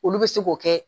Olu bɛ se k'o kɛ